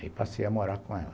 E passei a morar com ela.